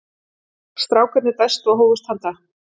Strákarnir dæstu og hófust handa.